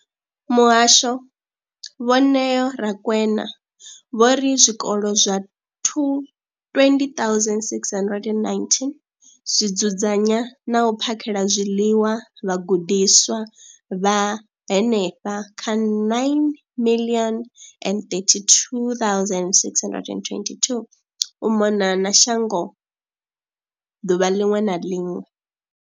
Muhasho, Vho Neo Rakwena, vho ri zwikolo zwa 2, 20 619 zwi dzudzanya na u phakhela zwiḽiwa vhagudiswa vha henefha kha 9 032 622 u mona na shango ḓuvha ḽiṅwe na ḽiṅwe.